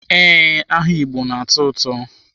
Ee, aha Igbo na-atọ ụtọ.